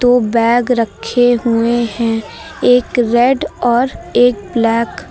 दो बैग रखे हुए हैं एक रेड और एक ब्लैक ।